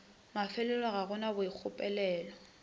mafelelo ga go na boikgopolelo